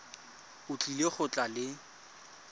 o tlile go tla le